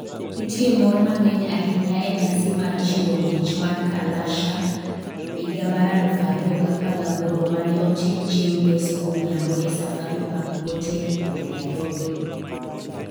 Ne nitie mor mang'eny ahinya e nyasi mar chiwo mich mar Kalasha 2018 ma ne otim chieng' Ngeso godhiambo e Safari Park Hotel e Nairobi.